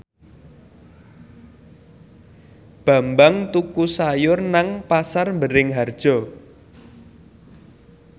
Bambang tuku sayur nang Pasar Bringharjo